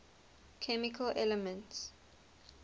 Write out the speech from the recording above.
chemical elements